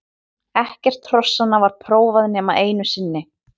Ekkert hrossanna var prófað nema einu sinni.